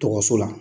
Dɔgɔso la